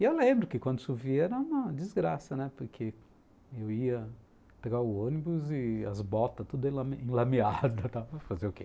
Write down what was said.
E eu lembro que quando chovia era uma desgraça, né, porque eu ia pegar o ônibus e as botas todas enlameadas, para fazer o quê?